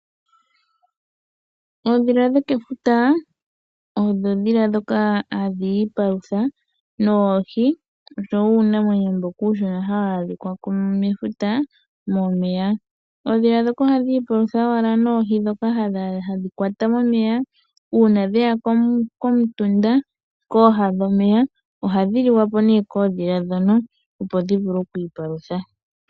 Oondhila dho kefuta odho oondhila dhoka hadhi ipalutha noohi oshowo uunamwenyo mboka uushona hawu adhika mefuta momeya. Oondhila dhoka ohadhi palutha wala noohi dhoka hadhi kwata momeya uuna dheya komutunda kooha dhomeya ohadhi liwapo ne koondhila dhoka opo dhiivule okwiipalutha.